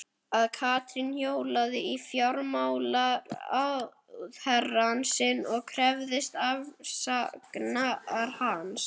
Að Katrín hjólaði í fjármálaráðherrann sinn og krefðist afsagnar hans?